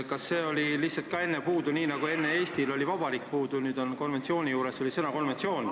Kas see oli samuti enne puudu, nii nagu "Eesti" järelt oli enne "Vabariik" puudu?